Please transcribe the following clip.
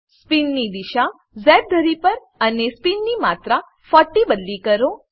સ્પીનની દીશા ઝ ધરી પર અને સ્પીનની માત્રા 40 બદલી કરો